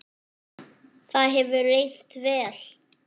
það hefur reynst vel.